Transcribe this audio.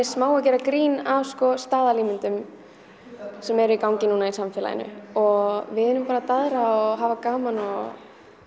smá að gera grín að sko staðalímyndum sem eru í gangi núna í samfélaginu og við erum bara að daðra og hafa gaman og